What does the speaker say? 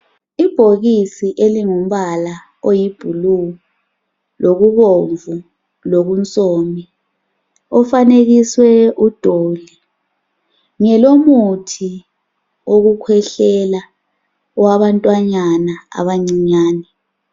Ibhokisi elingumbala oyi bhulu lokubomvu lokunsomi ofanekisiwe udoli ngelomuthi wokukhwehlela wabantwanyana abancinyane.